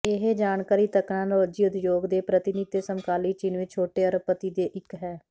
ਇਹ ਜਾਣਕਾਰੀ ਤਕਨਾਲੋਜੀ ਉਦਯੋਗ ਦੇ ਪ੍ਰਤੀਨਿਧ ਅਤੇ ਸਮਕਾਲੀ ਚੀਨ ਵਿਚ ਛੋਟੇ ਅਰਬਪਤੀ ਦੇ ਇੱਕ ਹੈ